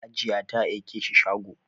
Hajiya ta aike shi shago